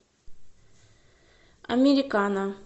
американа